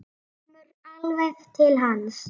Kemur alveg til hans.